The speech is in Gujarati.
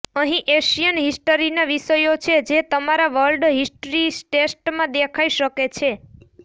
અહીં એશિયન હિસ્ટરીના વિષયો છે જે તમારા વર્લ્ડ હિસ્ટ્રી ટેસ્ટમાં દેખાઇ શકે છે